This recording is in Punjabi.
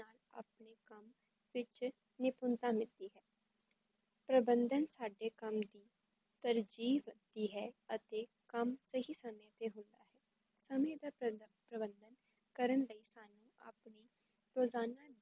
ਪਿੱਛੇ ਨਿਪੁਣਤਾ ਮਿਲਦੀ ਹੈ ਪ੍ਰਬੰਧਨ ਸਾਡੇ ਕੰਮ ਦੀ ਪਰ ਜੀਵ ਤੀ ਹੈ ਅਤੇ ਕੰਮ ਸਹੀ ਸਮੇ ਤੇ ਹੁੰਦਾ ਹੈ, ਸਮੇ ਦਾ ਪ੍ਰਬੰਧਨ ਕਰਨ ਲਈ ਸਾਨੂੰ ਆਪਣੇ ਰੋਜ਼ਾਨਾ ਦੀ